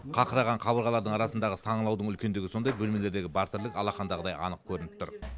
қақыраған қабырғалардың арасындағы саңылаудың үлкендігі сондай бөлмелердегі бар тірлік алақандағыдай анық көрініп тұр